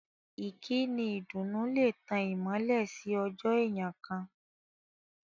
Ìkíni ìdùnnú lè tán ìmọ́lẹ̀ sí ọjọ́ èèyàn kán.